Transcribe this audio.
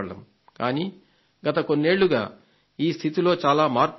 కానీ గత కొన్నేళ్లుగా ఈ స్థితిలో చాలా మార్పు వచ్చింది